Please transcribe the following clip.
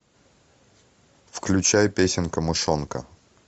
включай песенка мышонка